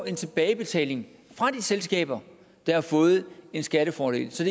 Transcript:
en tilbagebetaling fra de selskaber der har fået en skattefordel så